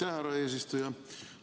Aitäh, härra eesistuja!